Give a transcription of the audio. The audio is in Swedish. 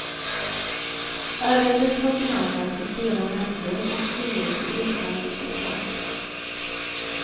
Ärendet har behandlats i flera nämnder och styrelser utan resultat.